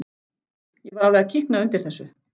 Ég var alveg að kikna undir þessu.